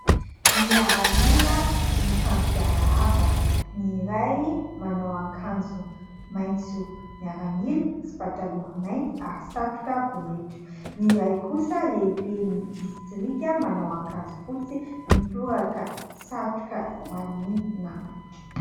Miaramila mifampiarahaba ny iray manao akanjo maitso miaramila sy pataloha mainty ary satroka bonetra, ny iray kosa lehibe ny distrika manao akanjo fotsy mitoraka satroka ho an'ny namany.